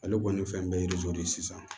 Ale kɔni fɛn bɛɛ ye yirijo de ye sisan